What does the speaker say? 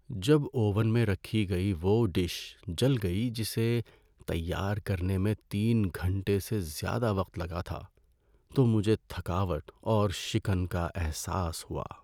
جب اوون میں رکھی گئی وہ ڈش جل گئی جسے تیار کرنے میں تین گھنٹے سے زیادہ وقت لگا تھا تو مجھے تھکاوٹ اور شکن کا احساس ہوا۔